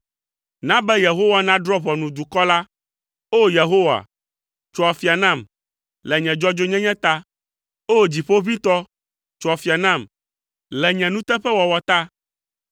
na be Yehowa nadrɔ̃ ʋɔnu dukɔ la. O! Yehowa, tso afia nam le nye dzɔdzɔenyenye ta, O! Dziƒoʋĩtɔ, tso afia nam le nye nuteƒewɔwɔ ta.